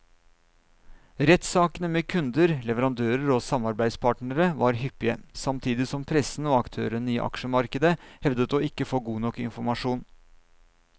Rettssakene med kunder, leverandører og samarbeidspartnere var hyppige, samtidig som pressen og aktørene i aksjemarkedet hevdet å ikke få god nok informasjon.